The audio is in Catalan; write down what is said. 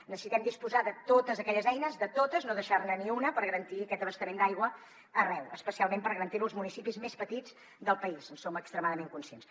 necessitem disposar de totes aquelles eines de totes no deixar ne ni una per garantir aquest abastament d’aigua arreu especialment per garantir lo als municipis més petits del país en som extremadament conscients